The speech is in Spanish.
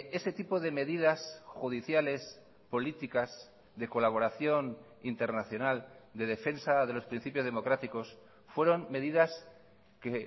ese tipo de medidas judiciales políticas de colaboración internacional de defensa de los principios democráticos fueron medidas que